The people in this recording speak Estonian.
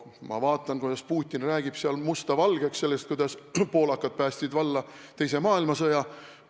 Ma vaatan, kuidas Putin räägib seal musta valgeks, räägib, kuidas poolakad päästsid valla teise maailmasõja.